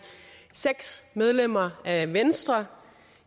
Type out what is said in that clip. seks medlemmer af venstre